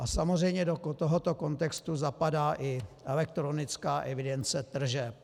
A samozřejmě do tohoto kontextu zapadá i elektronická evidence tržeb.